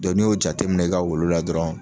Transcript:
Dɔ n'i y'o jateminɛ i ka wulu la dɔrɔn